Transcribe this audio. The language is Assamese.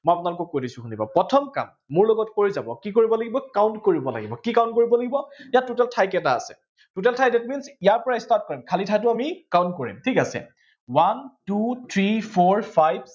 মই আপোনালোকক কৈ দিছো শুনিব, প্ৰথম কাম মোৰ লগত কৰি যাব কি কৰিব লাগিব count কৰিব লাগিব কি count কৰিব লাগিব ইয়াত total ঠাই কেইটা আছে total ঠাই that means ইয়াৰ পৰা start কৰিম খালী ঠাইটো আমি count কৰিম one two three four five